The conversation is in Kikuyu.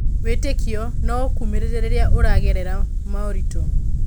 Wĩtĩkio no ũkũmĩrĩrie rĩrĩa ũragerera maũritũ.